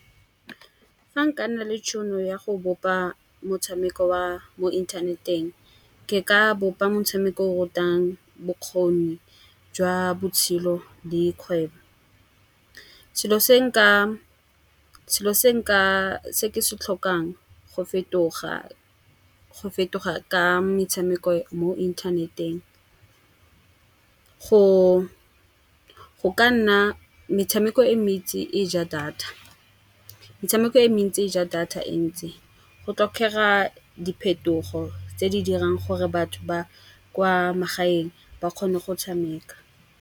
Fa nka nna le tšhono ya go bopa motshameko wa mo inthaneteng, ke ka bopa motshameko o o rutang bokgoni jwa botshelo dikgwebo. Selo se nka se ke se tlhokang go fetoga, go fetoga ka metshameko mo inthaneteng go ka nna metshameko e mentsi e ja data. Metshameko e mentsi e ja data e ntsi. Go tlhokega diphetogo tse di dirang gore batho ba kwa magaeng ba kgone go tshameka.